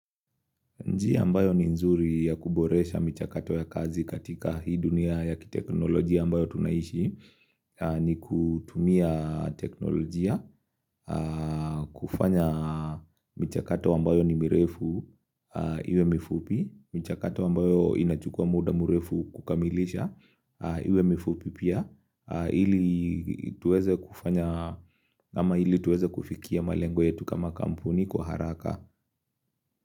Njia ambayo ni nzuri ya kuboresha mchakato ya kazi katika hii dunia ya kiteknolojia ambayo tunaishi ni kutumia teknolojia, kufanya michakato ambayo ni mirefu iwe mifupi, michakato ambayo inachukua muda mrefu kukamilisha iwe mifupi pia, ili tuweze kufanya, ama ili tuweze kufikia malengo yetu kama kampuni kwa haraka.